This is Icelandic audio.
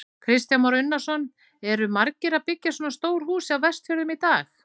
Kristján Már Unnarsson: Eru margir að byggja svona stór hús á Vestfjörðum í dag?